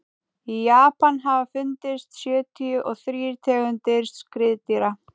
í japan hafa fundist sjötíu og þrír tegundir skriðdýra